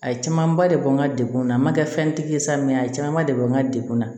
A ye camanba de bɔ n ka degun na ma kɛ fɛn tigi ye sa a camanba de bɛ n ka degun na